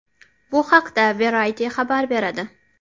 Bu haqda Variety xabar beradi .